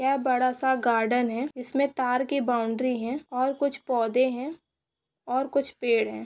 यह बहोत बड़ा गार्डन है जिसमें तार की बाउंड्री है और कुछ पौधे हैं और कुछ पेड़ है।